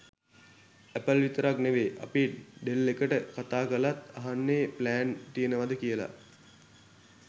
Apple විතරක් නෙවේ අපි ඩෙල් එකට කතා කලත් අහන්නෙ ප්ලෑන් තියෙනවද කියල.